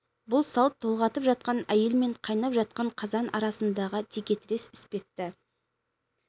бұл салт толғатып жатқан әйел мен қайнап жатқан қазан арасындағы текетірес іспетті